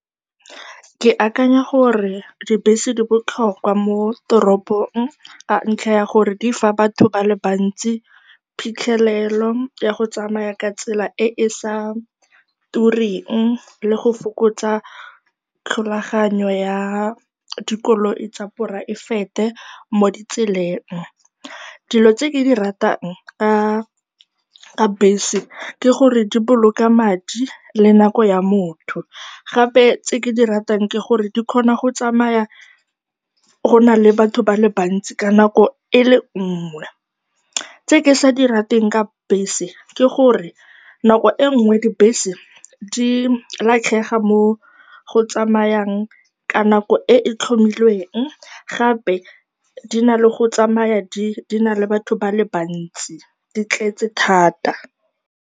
Ke akanya gore dibese di botlhokwa mo toropong ka ntlha ya gore di fa batho ba le bantsi phitlhelelo ya go tsamaya ka tsela e e sa turing le go fokotsa tlholaganyo ya dikoloi tsa poraefete mo ditseleng. Dilo tse ke di ratang ka bese ke gore di boloka madi le nako ya motho. Gape tse ke di ratang ke gore di kgona go tsamaya go na le batho ba le bantsi ka nako e le nngwe. Tse ke sa di rateng ka bese ke gore nako e nngwe dibese di latlhega mo go tsamayang ka nako e e tlhomilweng, gape di na le go tsamaya di na le batho ba le ba ntsi, di tletse thata.